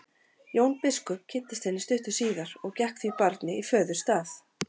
Jón biskup kynntist henni stuttu síðar og gekk því barni í föðurstað.